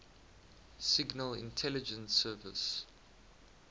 signal intelligence service